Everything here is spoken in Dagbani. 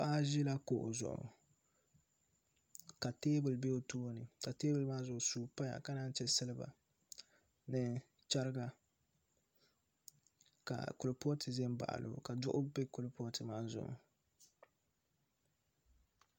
Paɣa ʒila kuɣu zuɣu ka teebuli bɛ o tooni ka teebuli maa zuɣu suu paya ka naan chɛ silba ni chɛriga ka kuripooti ʒɛ n baɣalo ka duɣu bɛ kuripooti maa zuɣu